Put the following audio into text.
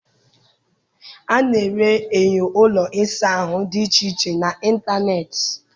A na-ere enyo ụlọ ịsa ahụ dị iche iche n'ịntanetị.